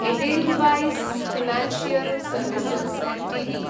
Edelweiss financial services Ltd